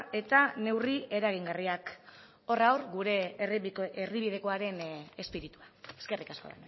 eta neurri eragingarriak horra hor gure erdibidekoaren espiritua eskerrik asko